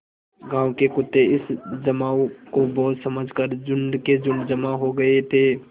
गाँव के कुत्ते इस जमाव को भोज समझ कर झुंड के झुंड जमा हो गये थे